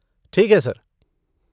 ठीक है सर।